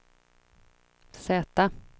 Z